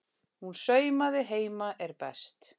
Hún saumaði heima er best.